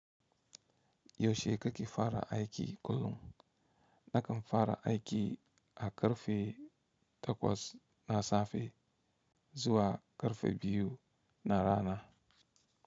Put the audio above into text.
Yaushe kake fara aiki kullum, nakan fara aiki a ƙarfe takwas na safe zuwa ƙarfe biyu na rana.